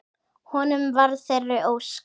Honum varð að þeirri ósk.